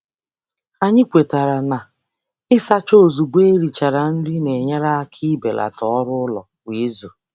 Anyị kwetara na ịsacha ozugbo e richara nri na-enyere aka ibelata ọrụụlọ kwa izu.